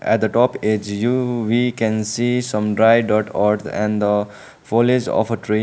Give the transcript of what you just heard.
at the top edge you we can see some dry dirt earth and the foilage of a tree.